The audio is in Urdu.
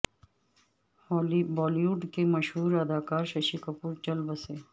بالی وڈ کے مشہور اداکار ششی کپور چل بسے